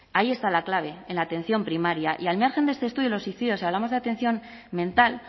ahí está la clave en la atención primaria y al margen de este estudio los suicidios si hablamos de atención mental